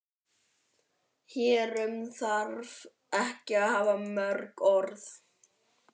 Hér um þarf ekki að hafa mörg orð.